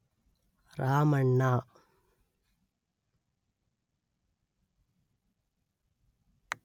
Ramanna